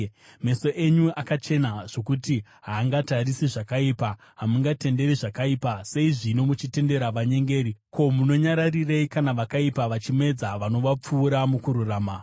Meso enyu akachena zvokuti haangatarisi zvakaipa; hamungatenderi zvakaipa. Sei zvino muchitendera vanyengeri? Ko, munonyararirei kana vakaipa vachimedza vanovapfuura mukururama?